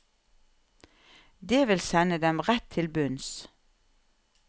Det vil sende dem rett til bunns.